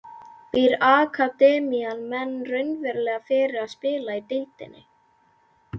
Býr akademían menn raunverulega fyrir það að spila í deildinni?